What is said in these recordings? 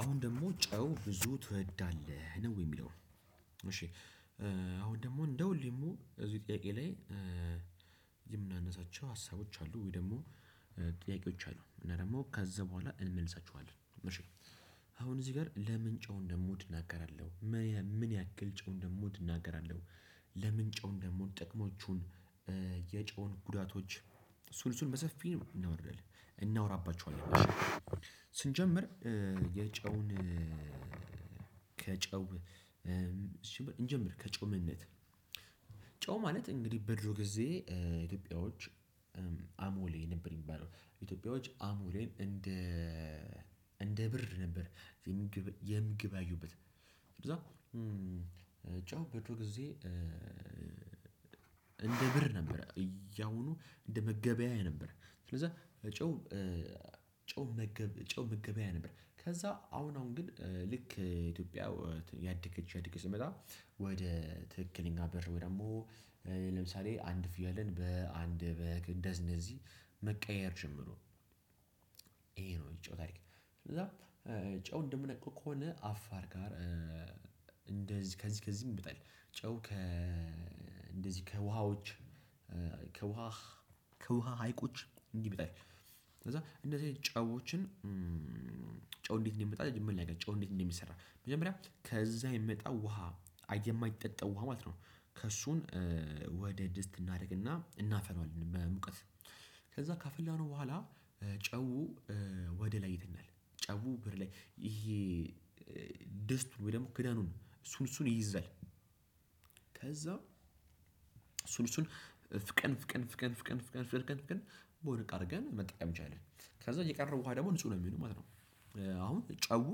አሁን ደግሞ ጨው ብዙ ትወዳለህ ነው የሚለው? እሺ። አሁን ደግሞ እንደ ሁሌ ደግሞ እዚህ ጥያቄ ላይ የምናነሳቸው ሀሳቦች አሉ? ወይ ደግሞ ጥያቄዎች አሉ እና ደግሞ ከዛ በኋላ እንመልሳችዋለን እሺ። አሁን እዚህ ጋር ለምን ጨው እንደምወድ እናገራለሁ። ምን ያህል ምን ያክል ጨው እንደምወድ እናገራለሁ። ለምን ጨው እንደምወድ ጥቅሞቹን የጨውን ጉዳቶች እሱን እሱን በሰፊው እናወራባቸዋለን። ስንጀምር የጨውን ከጨው እንጀምር ከጨው ምንነት? ጨው ማለት እንግዲህ በድሮ ጊዜ ኢትዮጵያዎች አሞሌ ነበር የሚባለው ኢትዮጵያዎች አሞሌን እንደ እንደ ብር ነበር የምግብ የሚገበያዩበት። ከዛ ጨው በድሮ ጊዜ። እንደ ብር ነበረ እ ያሁኑ እንደ መገበያያ ነበር። ስለዛ ጨው ጨው መገብ ጨው መገበያያ ነበር። ከዛ አሁን አሁን ግን ልክ ኢትዮጵያ እያድገች እያድገች ስትመጣ ወደ ትክክለኛ በር ወይ ደግሞ ለምሳሌ አንድ ፍየልን በአንድ በግ እነደዚህ እነደዚህ መቀያየር ጀመሩ። ይሄ ነው የጨው ታሪክ። ከዛ ጨው እንደምናውቀው ከሆነ አፋር ጋር እንደዚህ ከዚህ ከዚህም ይበልጣል። ጨው ከ እንደዚህ ከውሃዎች ከውሃ ከውሃ ሀይቁች እንዲህ ይመጣል። ከዛ እንደዚህ አይነት ጨዎችን ጨው እንዴት እንዲመጣ መጀመርያው ልናገር። ጨው ጨው እንዴት እንደሚሰራ መጀመሪያ ከዛ የሚመጣው ውሃ የማይጠጣው ውሃ ማለት ነው። ከእሱን ወደ ድስት እናድርግና እናፈለዋለን በሙቀት ከዛ ካፈላነው በኋላ ጨው ወደ ላይ ይተናል። ጨው ብር ላይ ይሄ ድስቱ ወይ ደግሞ ክዳኑ እሱን እሱን ይይዛል። ከዛ እሱን እሱን ፍቀን ፍቀን ፍቀን ፍቀን ፍቀን ፍቀን በሆነ እቃ አድርገን መጠቀም እንችላለን። ከዛብየቀረው ውሃ ደግሞ ንጹህ ነው የሚሆነው ማለት ነው። አሁን ጨው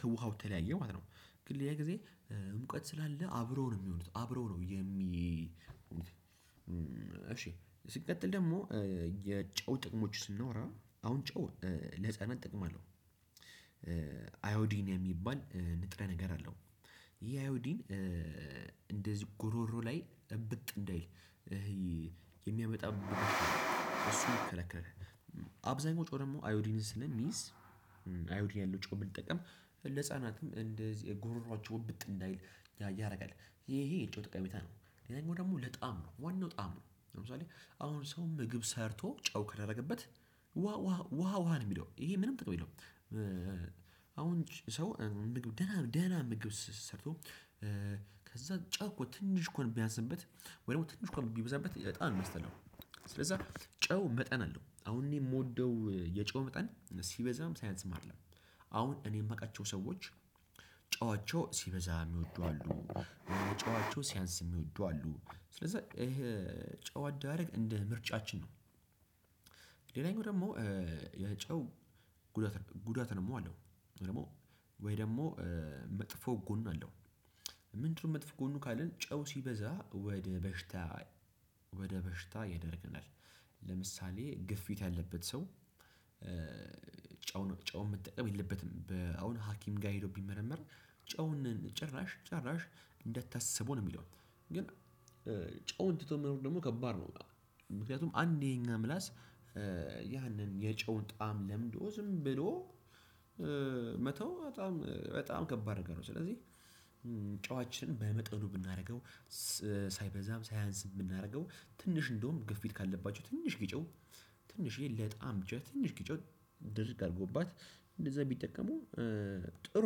ከውሃው ተለያየ ማለት ነው። ግን ሌላ ጊዜ ሙቀት ስላለ አብረው ነው የሚሆኑት አብረው ነው የሚ። እሺ ስንቀጥል ደግሞ የጨው ጥቅሞች ስናወራ አሁን ጨው ለህፃናት ጥቅም አለው? አይ ኦዲን የሚባል ንጥረ ነገር አለው። ይሄ አይ ኦዲን እንደዚህ ጉሮሮ ላይ እብጥ እንዳይል ይሄ የሚያመጣብ እሱን ይከለክላል። አብዛኛው ጨው ደግሞ አይኦዲንን ስለሚይዝ አይኦዲንን ያለው ጨው ብንጠቀም ለህፃናትም እንደዚህ የ ጎሮሮአቸው እብጥ እንዳይል ያደርጋል። ይሄ ይሄ የጨው ጠቀሜታ ነው። ሌላኛው ደግሞ ለጣም ነው ዋናው ጣም ነው ለምሳሌ አሁን ሰው ምግብ ሰርቶ ጨው ከላደረገበት ውሃ ውሃ ውሃ ውሃ ነው የሚለው ይሄ ምንም ጥቅም የለውም። አሁን ሰው ምግብ ደህና ደህና ምግብ ሰርቶ ከዛ ጨው እኮ ትንሽ እንኳን ቢያንስበት ወይ ትንሽ እንኳን ቢበዛበት በጣም ነው የሚያስጠላው። ስለዛ ጨው መጠን አለው አሁን እኔ የምወደው የጨው መጠን ሲበዛም ሲያንስም አይደለም። አሁን እኔ የማውቃቸው ሰዎች ጨዋቸው ሲበዛ የሚወዱ አሉ። ጨዋቸው ሲያንስ የሚወዱ አሉ ስለዛ ይሄ ጨው አዳራረግ እንደ ምርጫችን ነው። ሌላኛው ደግሞ የጨው ጉዳት ጉዳት ደግሞ አለው። ወይ ደግሞ መጥፎ ጎን አለው። ምንድነው? መጥፎ ጎኑ ካልን ጨው ሲበዛ ወደ በሽታ ወደ በሽታ ይዳርገናል። ለምሳሌ ግፊት ያለበት ሰው ጨውን ጨውን መጠቀም የለበትም። በአሁን ሀኪም ጋር ሄዶ ቢመረመር ጨውን ጭራሽ ጭራሽ እንደታሰበው ነው የሚለው ግን ጨውን ትቶ መኖር ደግሞ ከባድ ነው። ምክንያቱም አንዴ እኛ ምላስ ያንን የጨውን ጣዕም ለምዶ ዝም ብሎ መተው በጣም በጣም ከባድ ነገር ነው። ስለዚህ ጨዋችን በመጠኑ ብናደርገው። ሳይበዛም ሳያንስም ብናደርገው ትንሽ እንደውም ግፊት ካለባቸው ትንሽዬ ጨው ትንሽዬ ለጣም ብች ትንሽ ጨው ድርግ አድርገውባት እንደዛ ቢጠቀሙ ጥሩ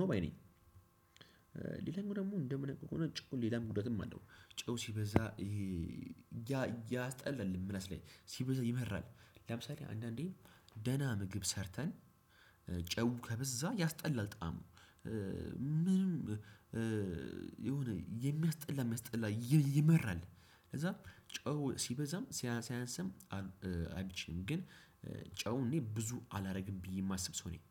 ነው ባይ ነኝ። ሌላኛው ደግሞ እንደምናውቀው ከሆነ ጨው ሌላም ጉዳትም አለው። ጨው ሲበዛ ይሄ ያስጠላል ምላሽ ላይ ሲበዛ ይመራል። ለምሳሌ አንዳንዴ ደህና ምግብ ሰርተን ጨው ከበዛ ያስጠላል ጣዕሙ ምንም የሆነ የሚያስጠላ የሚያስጠላ ይመራል። ከዛ ጨው ሲበዛም ሲያንስም አይምቸኝም ግን ጨውን እኔ ብዙ አላደርግም ብየ የማስብ ሰው ነኝ።